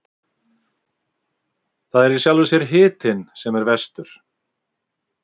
Það er í sjálfu sér hitinn sem er verstur.